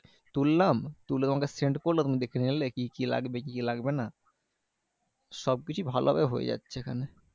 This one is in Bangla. তুললাম তুলে তোমাকে send করলাম। তুমি দেখে নিলে, কি কি লাগবে? কি কি লাগবে না? সবকিছুই ভালো ভাবে হয়ে যাচ্ছে এখানে।